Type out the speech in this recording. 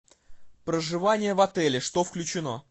проживание в отеле что включено